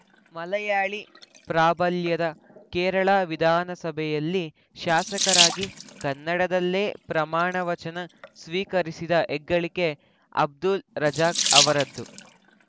ಮಲಯಾಳಿ ಪ್ರಾಬಲ್ಯದ ಕೇರಳ ವಿಧಾನಸಭೆಯಲ್ಲಿ ಶಾಸಕರಾಗಿ ಕನ್ನಡದಲ್ಲೇ ಪ್ರಮಾಣವಚನ ಸ್ವೀಕರಿಸಿದ ಹೆಗ್ಗಳಿಕೆ ಅಬ್ದುಲ್‌ ರಜಾಕ್‌ ಅವರದ್ದು